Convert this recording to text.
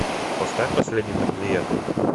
поставь последний тамплиер